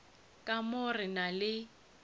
ka mo re na le